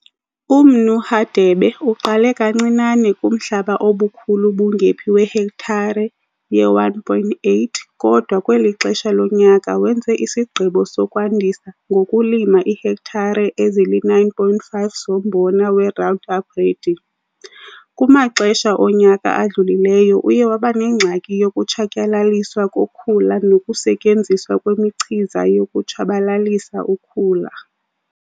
UMnu Hadebe uqale kancinane kumhlaba obukhulu bungephi wehektare ye-1,8 kodwa kweli xesha lonyaka wenze isigqibo sokwandisa ngokulima iihektare ezili-9,5 zombona we-Roundup Ready. Kumaxesha onyaka adlulileyo uye waba nengxaki yokutshatyalaliswa kokhula nokusetyenziswa kwemichiza yokutshabalalisa ukhula.